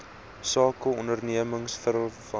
sake ondernemings waarvan